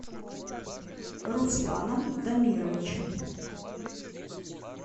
русланом дамировичем